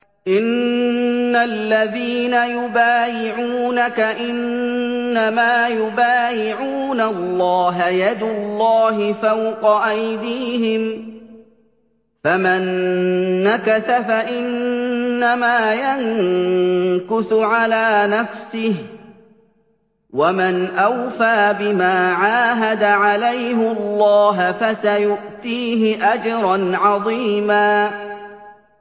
إِنَّ الَّذِينَ يُبَايِعُونَكَ إِنَّمَا يُبَايِعُونَ اللَّهَ يَدُ اللَّهِ فَوْقَ أَيْدِيهِمْ ۚ فَمَن نَّكَثَ فَإِنَّمَا يَنكُثُ عَلَىٰ نَفْسِهِ ۖ وَمَنْ أَوْفَىٰ بِمَا عَاهَدَ عَلَيْهُ اللَّهَ فَسَيُؤْتِيهِ أَجْرًا عَظِيمًا